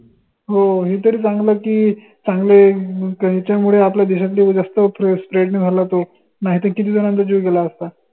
हो हे तरी चांगलं की चांगले च्या मुडे आपल्या देशात जास्त spread नाही झाला तो नाही त किती झंनांचा जीव गेला असता.